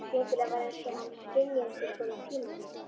Skyndilega var einsog hann skynjaði einhvers konar tímavillu.